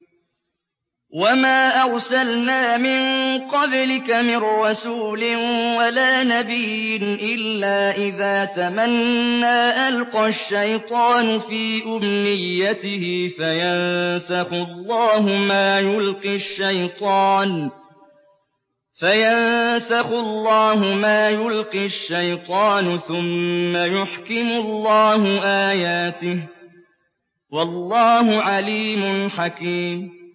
وَمَا أَرْسَلْنَا مِن قَبْلِكَ مِن رَّسُولٍ وَلَا نَبِيٍّ إِلَّا إِذَا تَمَنَّىٰ أَلْقَى الشَّيْطَانُ فِي أُمْنِيَّتِهِ فَيَنسَخُ اللَّهُ مَا يُلْقِي الشَّيْطَانُ ثُمَّ يُحْكِمُ اللَّهُ آيَاتِهِ ۗ وَاللَّهُ عَلِيمٌ حَكِيمٌ